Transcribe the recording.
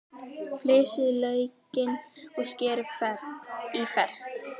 Flysjið laukinn og skerið í fernt.